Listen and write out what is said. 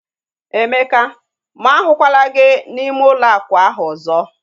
Emeka! Mụ ahukwala gị n'ime ụlọ akwa ahu ọzọ